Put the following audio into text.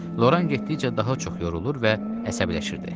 Loran getdikcə daha çox yorulur və əsəbləşirdi.